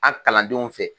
A kalandenw fɛ